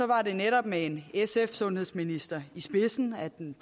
var det netop med en sundhedsminister fra i spidsen at den